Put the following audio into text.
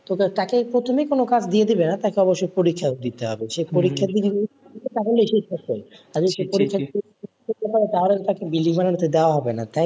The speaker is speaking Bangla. তো তাকে প্রথমে কোন কাজ দিয়ে দেবে না তাকে অবশ্যই পরীক্ষা দিতে হবে সে পরীক্ষায় যদি উত্তীর্ণ তাহলে দেওয়া হবে না,